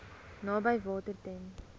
naby water ten